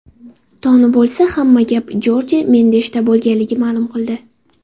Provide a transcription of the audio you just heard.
Toni bo‘lsa, hamma gap Jorje Mendeshda bo‘lganligini ma’lum qildi.